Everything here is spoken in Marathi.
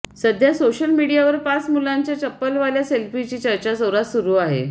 सध्या सोशल मीडियावर पाच मुलांच्या चप्पलवाल्या सेल्फीची चर्चा जोरात सुरू आहे